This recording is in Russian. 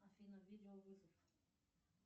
афина видеовызов